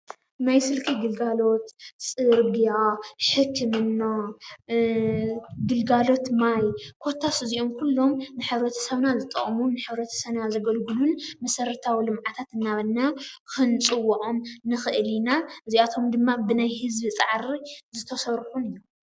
ናይ ስልኪ ግልጋሎት፣ ፅርግያ፣ ሕክምና፣ ግልጋሎት ማይ፣ ኮታስ እዚኦም ኩሎም ንሕብረተሰብና ዝጠቅሙን ንሕ/ሰብና ዘገልግሉን መሰረታዊ ልምዓታት እናበልና ክንፅውዖም ንክእል ኢና፡፡ እዚአቶም ድማ ብናይ ህዝቢ ፃዕሪ ዝተሰርሑን እዮም፡፡